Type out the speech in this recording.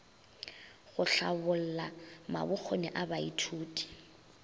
go hlabolla mabokgoni a baithuti